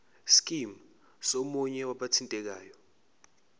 scheme somunye wabathintekayo